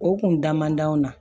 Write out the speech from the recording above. O kun da man di an na